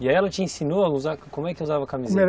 E aí ela te ensinou como é que usava a camisinha?